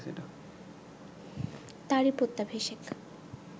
তারই প্রত্যাভিষেক